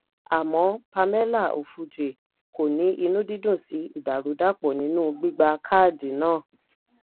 àmọ́ pamela ofuje kò ní inú dídùn sí ìdàrúdàpò nínú gbígba káàdì náà.